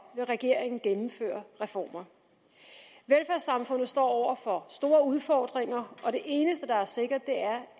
regeringen gennemføre reformer velfærdssamfundet står over for store udfordringer og det eneste der er sikkert